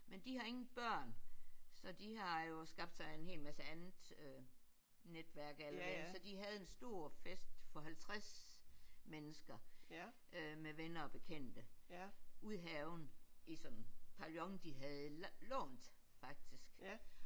Men de har ingen børn så de har jo skabt sig en hel masse andet øh netværk alle mulige så de havde en stor fest for 50 mennesker øh med venner og bekendte ude i haven i sådan en pavillon de havde lånt faktisk